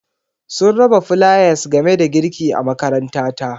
Sun raba flayas game da girki a makarantata.